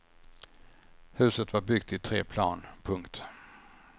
Huset var byggt i tre plan. punkt